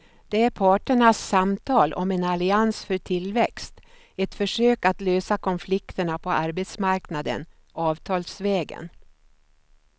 Det är parternas samtal om en allians för tillväxt, ett försök att lösa konflikterna på arbetsmarknaden avtalsvägen.